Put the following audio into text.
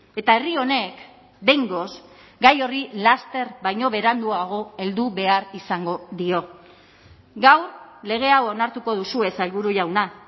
eta herri honek behingoz gai horri laster baino beranduago heldu behar izango dio gaur lege hau onartuko duzue sailburu jauna